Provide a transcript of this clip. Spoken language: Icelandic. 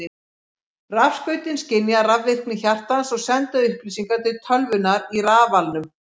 Rafskautin skynja rafvirkni hjartans og senda upplýsingar til tölvunnar í rafalnum.